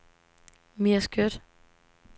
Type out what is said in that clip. Mia Skjødt